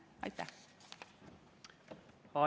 Aitäh!